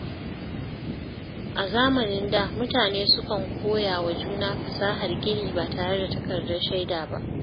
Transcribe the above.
A zamanin da, mutane sukan koya wa juna fasahar gini ba tare da takardar shaida ba.